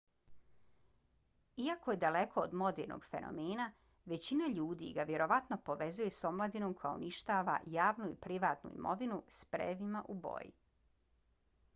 iako je daleko od modernog fenomena većina ljudi ga vjerovatno povezuju s omladinom koja uništava javnu i privatnu imovinu sprejevima u boji